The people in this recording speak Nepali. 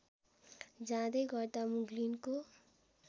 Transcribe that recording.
जाँदै गर्दा मुग्लिनको